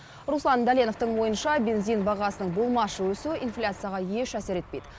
руслан дәленовтің ойынша бензин бағасының болмашы өсуі инфляцияға еш әсер етпейді